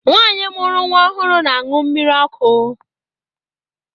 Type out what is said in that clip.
Nwaanyi mụrụ nwa ọhụrụ na-aṅụ mmiri ọkụ.